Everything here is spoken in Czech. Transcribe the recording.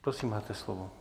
Prosím, máte slovo.